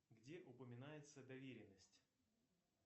где упоминается доверенность